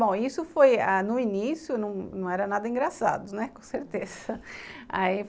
Bom, isso foi ãh no início, não não era nada engraçado, né, com certeza, aí